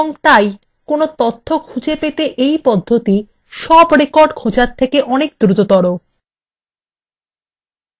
এবং তাই কোনো তথ্য পেতে এই পদ্ধতি সব records খোঁজার তুলনায় অনেক দ্রুততর